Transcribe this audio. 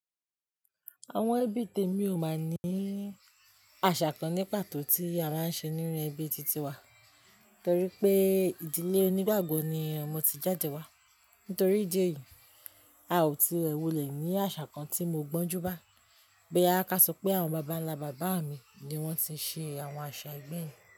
Àwọn ẹbí tèmi ò mọ̀ ní àṣà kan ní pàtó tí a máa ń ṣe nínú ẹbí titi wa, torí pé ìdílé onígbàgbọ́ ni ọmọ ti jáde wá. Nítorí ìdí èyí, a ò tí rẹ wolẹ̀ ní àṣà kan tí mo gbọ́njú bá. Bo ya ka so pé àwọn bàbánlá bàbá mi ni wọ́n ti ṣe àwọn àṣà ẹgbẹ́ yẹn.